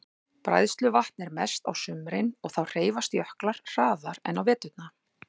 Bræðsluvatn er mest á sumrin og þá hreyfast jöklar hraðar en á veturna.